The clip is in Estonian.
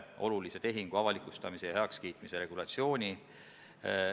Kui nad rongi pääsevad, siis hakatakse neid aitama.